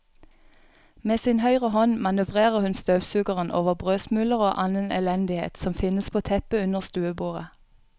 Med sin høyre hånd manøvrerer hun støvsugeren over brødsmuler og annen elendighet som finnes på teppet under stuebordet.